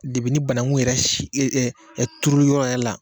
ni bananku yɛrɛ turuyɔrɔ la